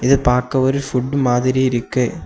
இது பாக்க ஒரு ஃபுட் மாதிரி இருக்கு.